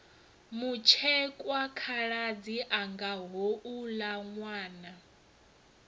mutshekwa khaladzi anga houla nwana